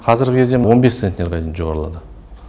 қазіргі кезде он бес центнерге дейін жоғарылады